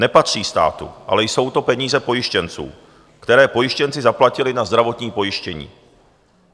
Nepatří státu, ale jsou to peníze pojištěnců, které pojištěnci zaplatili na zdravotní pojištění.